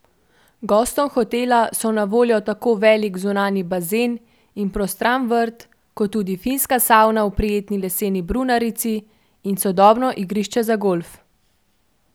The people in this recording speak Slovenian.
Gostom hotela so na voljo tako velik zunanji bazen in prostran vrt, kot tudi finska savna v prijetni leseni brunarici in sodobno igrišče za golf.